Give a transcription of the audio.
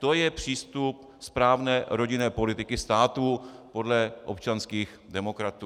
To je přístup správné rodinné politiky státu podle občanských demokratů.